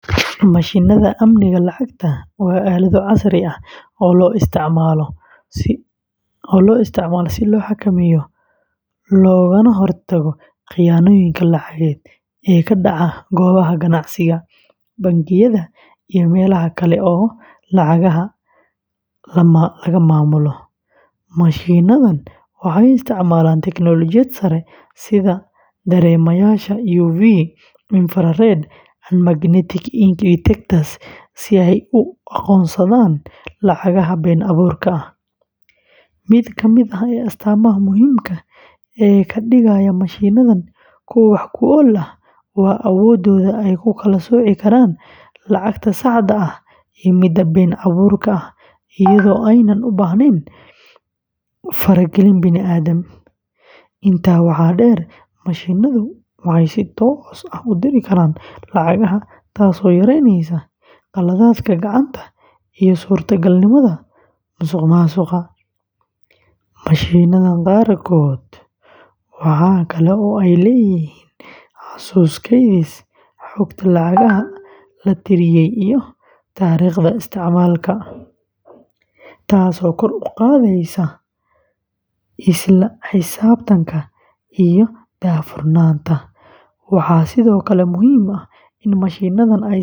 Mashiinnada amniga lacagta waa aalado casri ah oo loo isticmaalo si loo xakameeyo loogana hortago khiyaanooyinka lacageed ee ka dhaca goobaha ganacsiga, bangiyada, iyo meelaha kale ee lacagaha la maamulo. Mashiinnadan waxay isticmaalaan teknoolojiyad sare sida dareemayaasha UV, infrared, and magnetic ink detectors si ay u aqoonsadaan lacagaha been abuurka ah. Mid ka mid ah astaamaha muhiimka ah ee ka dhigaya mashiinnadan kuwo wax ku ool ah waa awooddooda ay ku kala sooci karaan lacagta saxda ah iyo midda been abuurka ah iyadoo aanay u baahnayn faragelin bini’aadam. Intaa waxaa dheer, mashiinnadu waxay si toos ah u tiri karaan lacagaha, taasoo yareyneysa khaladaadka gacanta iyo suurtagalnimada musuqmaasuqa. Mashiinnada qaarkood waxa kale oo ay leeyihiin xasuus kaydisa xogta lacagaha la tiriyay iyo taariikhda isticmaalka, taasoo kor u qaadaysa isla xisaabtanka iyo daahfurnaanta. Waxaa sidoo kale muhiim ah in mashiinnadani ay si joogto ah.